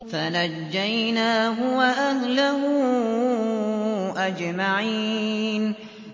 فَنَجَّيْنَاهُ وَأَهْلَهُ أَجْمَعِينَ